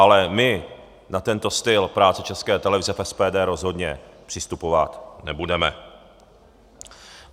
Ale my na tento styl práce České televize v SPD rozhodně přistupovat nebudeme.